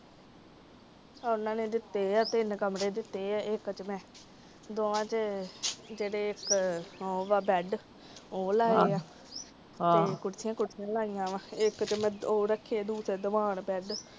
ਇਹਨੇ ਨੇ ਦਿੱਤੇ ਏ, ਤਿੰਨ ਕਮਰੇ ਦਿੱਤੇ ਏ। ਇੱਕ ਚ ਮੈ ਦੋਵਾਂ ਚ ਜੇੜੇ ਇੱਕ ਹੋਊਗਾ ਬੈਡ ਓ ਲਾਏ ਆ ਤੇ ਕੁਰਸੀਆਂ ਕਰਸੀਆਂ ਲਾਈਆਂ ਵਾ ਇਕ ਤੇ ਮੈ ਓ ਰੱਖੇ ਦੀਵਾਨ ਬੈਡ